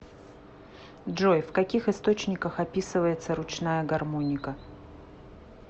джой в каких источниках описывается ручная гармоника